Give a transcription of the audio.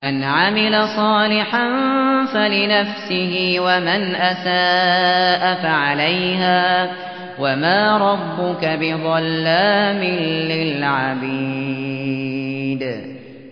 مَّنْ عَمِلَ صَالِحًا فَلِنَفْسِهِ ۖ وَمَنْ أَسَاءَ فَعَلَيْهَا ۗ وَمَا رَبُّكَ بِظَلَّامٍ لِّلْعَبِيدِ